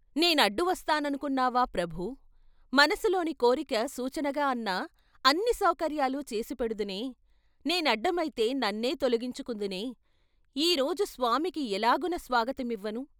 నేనడ్డు వస్తాననుకున్నావా ప్రభూ ? మనసులోని కోరిక సూచనగా అన్నా, అన్ని సౌకర్యాలు చేసిపెడుదునే. నేనడ్డమైతే నన్నే తొలగించుకుందునే, ఈ రోజు స్వామికి ఎలాగున స్వాగతమివ్వను?